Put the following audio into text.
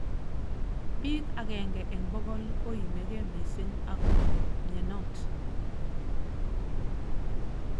Bik agenge eng bokol koimigei missing akobo mnyenot.